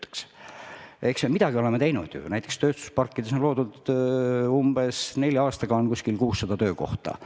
Eks me oleme midagi ju teinud, näiteks tööstusparkides on loodud nelja aasta jooksul umbes 600 töökohta.